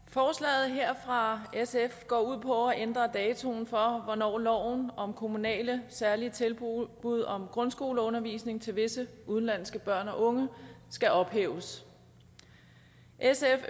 forslaget her fra sf går ud på at ændre datoen for hvornår loven om kommunale særlige tilbud om grundskoleundervisning til visse udenlandske børn og unge skal ophæves sf